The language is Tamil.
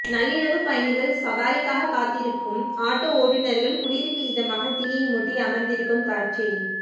நள்ளிரவு பயணிகள் சவாரிக்காக காத்திருக்கும் ஆட்டோ ஓட்டுனர்கள் குளிருக்கு இதமாக தீயை மூட்டி அமர்ந்திருக்கும் காட்சி